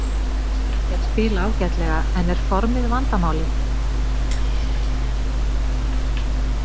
Þeir spila ágætlega en er formið vandamálið?